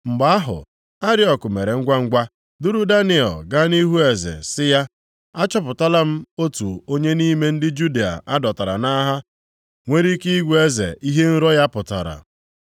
Mgbe ahụ, Ariok mere ngwangwa duru Daniel gaa nʼihu eze, sị ya, “Achọpụtala m otu onye nʼime ndị Juda a dọtara nʼagha nwere ike ịgwa eze ihe nrọ ya pụtara.”